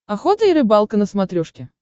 охота и рыбалка на смотрешке